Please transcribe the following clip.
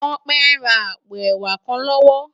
Tope n rá àpó èwá kán lòwò